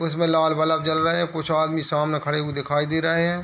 उसमे लाल बल्ब जल रहे है कुछ आदमी सामने खड़े हुए दिखाई दे रहे है।